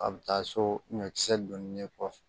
A bɛ taa so ɲɔkisɛ donni kɔfɛ